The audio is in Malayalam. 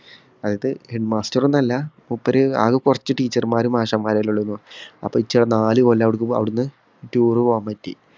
അതായത് Head master ഒന്നും അല്ല. മൂപ്പർ ആകെ കുറച്ചു teacher മാരും, മാഷ്മാരും അല്ലെ ഉള്ളെന്നു. അപ്പൊ എനിക്ക് നാലു കൊല്ലം അവിടുന്ന് tour പോവാൻ പറ്റി.